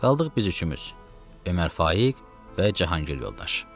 Qaldıq biz üçümüz: Ömər Faiq və Cahangir yoldaş.